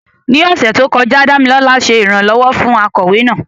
Ní ọ̀sẹ̀ tó kọjá, Dámilọ́lá ṣe ìrànlọ́wọ́ fún akọ̀wé náà.